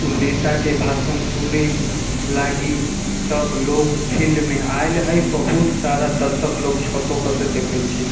उ नेता के भाषण सुनी लगी सब लोग फील्ड में आइल हेय बहुत सारा दर्शक लोग छतो पर से देखे छै।